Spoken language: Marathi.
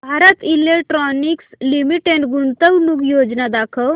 भारत इलेक्ट्रॉनिक्स लिमिटेड गुंतवणूक योजना दाखव